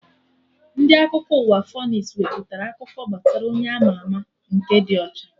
Ndị Akụkọ ụwa Fonis wepụtara akụkọ gbasara Onye ama ama nke dị ọcha